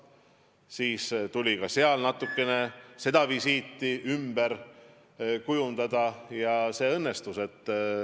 See visiit tuli veidi ümber kujundada ja see õnnestus.